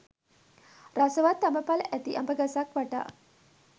රසවත් අඹ ඵල ඇති අඹ ගසක් වටා